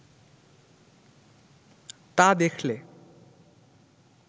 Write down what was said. তা দেখলে